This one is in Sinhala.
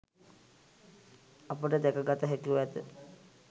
අපට දැක ගත හැකිව ඇත.